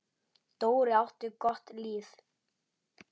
Dóri átti gott líf.